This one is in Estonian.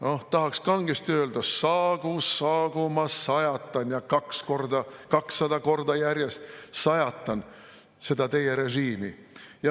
Noh, tahaks kangesti öelda: "Saagu, saagu, ma sajatan, 200 korda järjest sajatan seda teie režiimi.